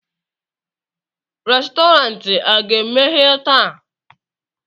Restọrantị a ga-emeghe taa?